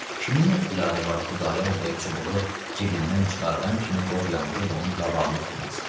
Kimin ixtiyarı var Xudayar bəy çubuğu cibindən çıxardan kimi qov yandırıb onun qabağını tutmasın.